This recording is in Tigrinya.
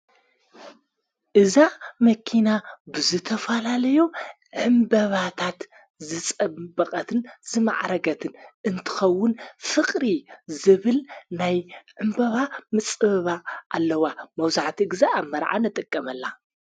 እዛ መኪና ብዘተፋላለዮ ዕምበባታት ዝጸበቐትን ዝመዕረገትን እንትኸውን፤ ፍቕሪ ዝብል ናይ ዕምበባ ምጽበባ ኣለዋ ።መውዙዕቲ ጊዜ ኣብ መርዓን ነጠቀመላ።